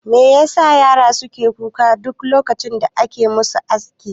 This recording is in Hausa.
Me yasa yara suke kuka duk lokacin da ake musu aski?